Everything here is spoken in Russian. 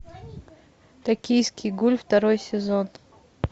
токийский гуль второй сезон